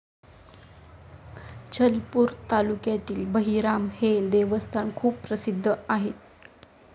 चलपूर तालुक्यातील बहिराम हे देवस्थान खूप प्रसिद्ध आहे.